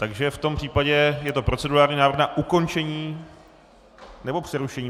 Takže v tom případě je to procedurální návrh na ukončení - nebo přerušení?